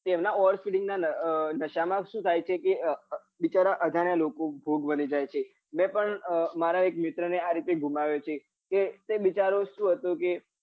તેમના over speeding ના નાશા માં સુ થાય છે કે બિચારા અજાણ્યા લોકો ભોગ બની જાય છે મેં પન મારા એક મિત્ર ને આવી રીતે ગુમાયો છે તે તે બિચારો સુ હતો કે